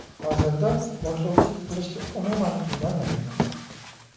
Hozirda boshlovchilik qilishga umuman qiynalmayapman.